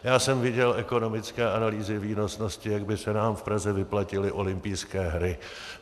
Já jsem viděl ekonomické analýzy výnosnosti, jak by se nám v Praze vyplatily olympijské hry.